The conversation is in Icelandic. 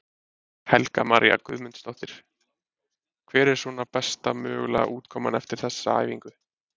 Helga María Guðmundsdóttir: Hver er svona besta mögulega útkoma eftir þessa æfingu?